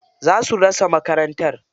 Za su rusa makarantar.